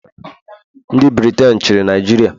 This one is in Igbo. ndị Briten chịrị Naijiria.